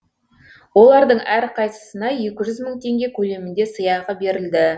олардың әрқайсысына екі мың теңге көлемінде сыйақы берілді